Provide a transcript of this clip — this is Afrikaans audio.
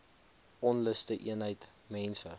onluste eenheid mense